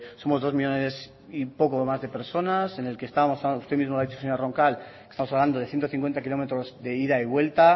somos dos millónes y poco más de personas en el que estamos usted misma lo ha dicho señora roncal hablando de ciento cincuenta kilómetros de ida y vuelta